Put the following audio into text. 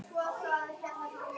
Hann hnippti í Örn.